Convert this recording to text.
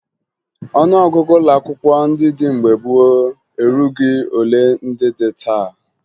Ọnụọgụgụ ụlọakwụkwọ ndị dị mgbe gboo erughi ole ndị dị taa